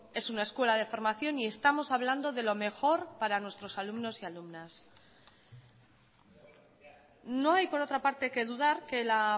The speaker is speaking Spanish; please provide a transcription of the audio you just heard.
es una escuela de formación y estamos hablando de lo mejor para nuestros alumnos y alumnas no hay por otra parte que dudar que la